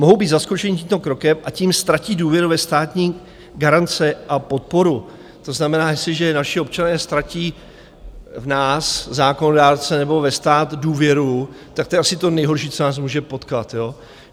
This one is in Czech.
Mohou být zaskočeni tímto krokem, a tím ztratí důvěru ve státní garance a podporu, to znamená, jestliže naši občané ztratí v nás zákonodárce nebo ve stát důvěru, tak to je asi to nejhorší, co nás může potkat.